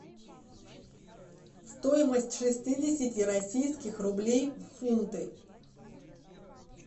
стоимость шестидесяти российских рублей в фунты